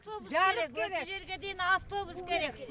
жарық керек осы жерге дейін автобус керек